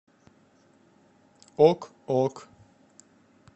ок ок